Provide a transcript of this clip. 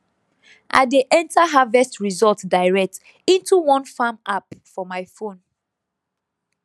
i dey enter harvest result direct into one farm app for my phone